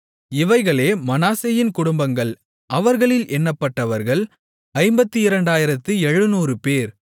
இவைகளே மனாசேயின் குடும்பங்கள் அவர்களில் எண்ணப்பட்டவர்கள் 52700 பேர்